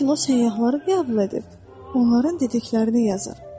Lakin o səyyahları qəbul edib, onların dediklərini yazır.